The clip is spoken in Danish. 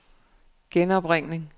genopringning